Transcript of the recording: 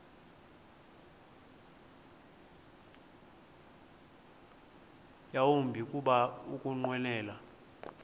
yawumbi kuba ukunqwenela